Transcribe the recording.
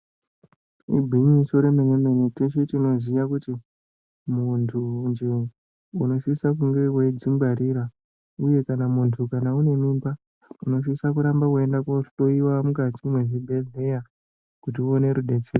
Igwinyiso remene mene teshe tinoziya kuti munhunje unosise kunge weidzingwarira uye kana munhu kana une mimbe unosise kurambe weiende koohloyiwa mukati mwezvibhedhlera kuti uone rudetsero.